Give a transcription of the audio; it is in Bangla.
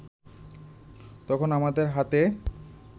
তখনো আমাদের হাতে